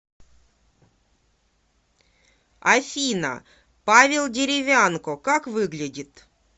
афина павел деревянко как выглядит